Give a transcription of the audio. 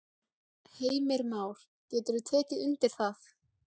Heimir Már: Getur þú tekið undir það?